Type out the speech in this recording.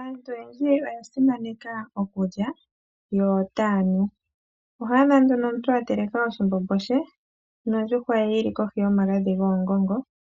Aantu oyendji oya simaneka okulya yo ota ya nu. Oho adha nduno omuntu a teleka oshimbimbo she nondjuhwa ye yili kohi yomagadhi goongongo,